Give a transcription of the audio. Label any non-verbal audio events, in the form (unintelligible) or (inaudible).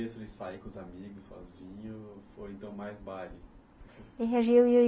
(unintelligible) sair com os amigos, sozinho, foi então mais baile? (unintelligible)